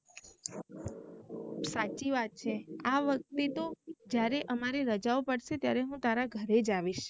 સાચ્ચી વાત છે આ વખ્તે તો જ્યારે અમારી રજાઓ પડશે ત્યારે હુ તારા ઘરે જ આવીશ